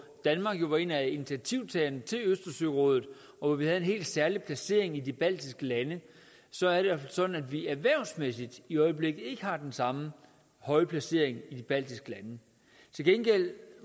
danmark jo var en af initiativtagerne til østersørådet og hvor vi havde en helt særlig placering i de baltiske lande så er det sådan at vi erhvervsmæssigt i øjeblikket ikke har den samme høje placering i de baltiske lande til gengæld